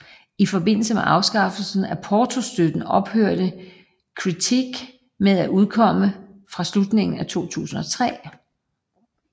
I forbindelse med afskaffelsen af portostøtten ophørte Critique med at udkomme fra slutningen af 2003